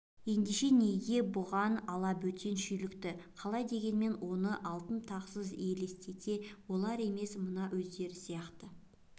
ендеше неге бұған алабөтен шүйлікті қалай дегенмен оны алтын тақсыз елестете олар емес мына өздері сияқты